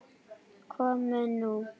Komið nú